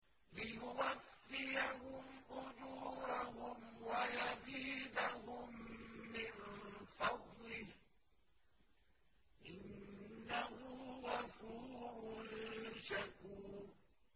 لِيُوَفِّيَهُمْ أُجُورَهُمْ وَيَزِيدَهُم مِّن فَضْلِهِ ۚ إِنَّهُ غَفُورٌ شَكُورٌ